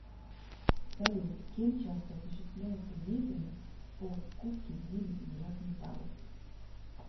салют кем часто осуществляется деятельность по скупке изделий из драгметаллов